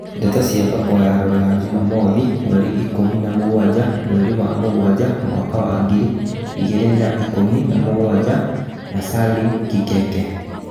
Ndeto cia thoko ya Rũraya jumamothi mweri ikũmi na mũgwanja mweri wa mũgwanja mwaka wa ngiri igĩrĩ ikumi na mũgwanja na Salim Kikeke